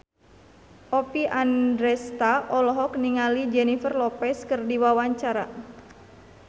Oppie Andaresta olohok ningali Jennifer Lopez keur diwawancara